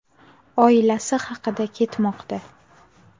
oilasi haqida ketmoqda.